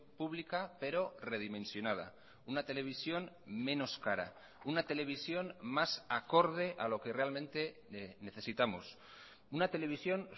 pública pero redimensionada una televisión menos cara una televisión más acorde a lo que realmente necesitamos una televisión